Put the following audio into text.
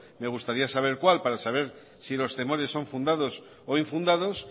me gustaría saber cuál para saber si los temores son fundados o infundados